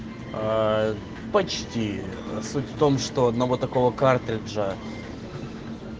почти суть в том что одного такого картриджа